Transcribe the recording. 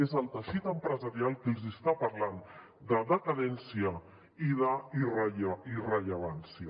és el teixit empresarial que els hi està parlant de decadència i d’irrellevància